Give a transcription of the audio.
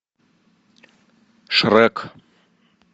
шрек